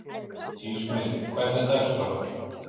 Ísmey, hvernig er dagskráin?